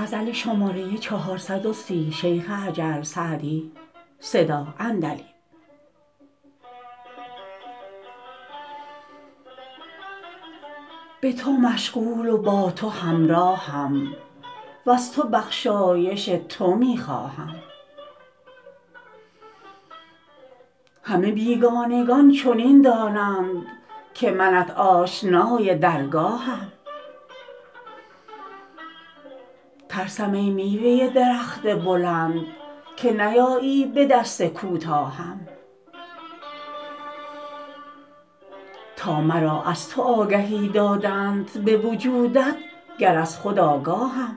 به تو مشغول و با تو همراهم وز تو بخشایش تو می خواهم همه بیگانگان چنین دانند که منت آشنای درگاهم ترسم ای میوه درخت بلند که نیایی به دست کوتاهم تا مرا از تو آگهی دادند به وجودت گر از خود آگاهم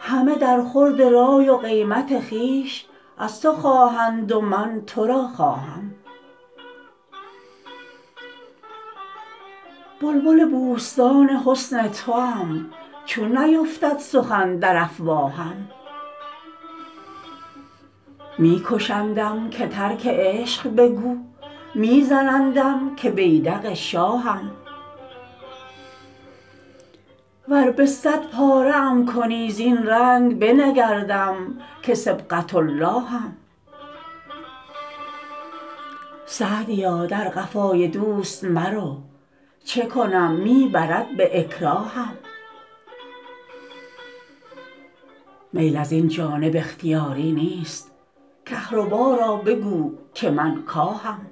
همه در خورد رای و قیمت خویش از تو خواهند و من تو را خواهم بلبل بوستان حسن توام چون نیفتد سخن در افواهم می کشندم که ترک عشق بگو می زنندم که بیدق شاهم ور به صد پاره ام کنی زین رنگ نه بگردم که صبغة اللهم سعدیا در قفای دوست مرو چه کنم می برد به اکراهم میل از این جانب اختیاری نیست کهربا را بگو که من کاهم